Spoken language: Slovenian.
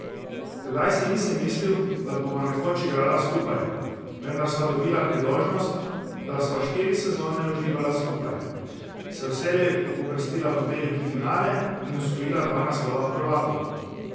Tedaj si nisem mislil, da bova nekoč igrala skupaj, vendar sva dobila priložnost, da sva štiri sezone uživala skupaj, se vselej uvrstila v veliki finale in osvojila dva naslova prvakov.